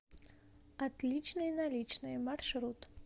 отличные наличные маршрут